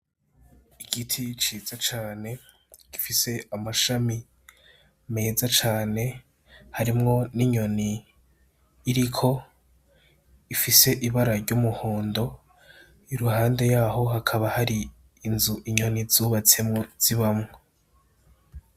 Igiti ciza cane gifise amashami meza cane harimwo n'inyoni iriko ifise ibara ry'umuhondo, iruhande yaho hakaba hari inzu inyoni zubatsemwo zibamwo.